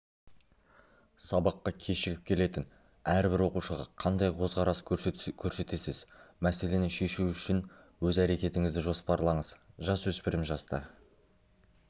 сабаққа кешігіп келетін әрбір оқушыға қандай қөзқарас көрсетесіз мәселені шешу үшін өз әрекетіңізді жоспарлаңыз жасөспірім жаста